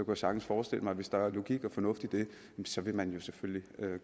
jeg sagtens forestille mig at hvis der er logik og fornuft i det så vil man selvfølgelig gøre